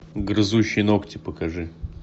грызущий ногти покажи